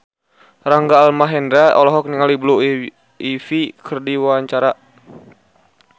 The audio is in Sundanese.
Rangga Almahendra olohok ningali Blue Ivy keur diwawancara